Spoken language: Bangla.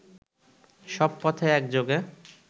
সব পথে একযোগে